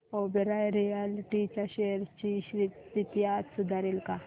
Oberoi realty च्या shares ची स्थिती आज सुधारेल का